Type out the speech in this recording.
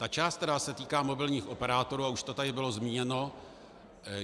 Ta část, která se týká mobilních operátorů, a už to tady bylo zmíněno.